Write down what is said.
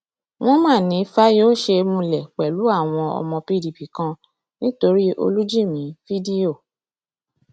wọn mà ní fáyọṣe múlẹ pẹlú àwọn ọmọ pdp kan nítorí olùjìmì fídíò